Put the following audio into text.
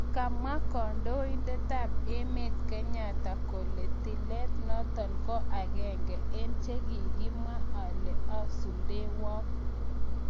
kamwa kandoindetap-emet Kenyatta kole tilat natong ko agenge en chegigamwa alee asuldewag